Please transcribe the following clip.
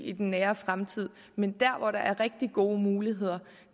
i den nære fremtid men der hvor der er rigtig gode muligheder